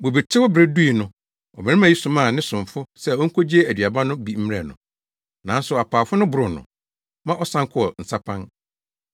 Bobetew bere dui no, ɔbarima yi somaa ne somfo se onkogye aduaba no bi mmrɛ no. Nanso apaafo no boroo no, ma ɔsan kɔɔ nsapan.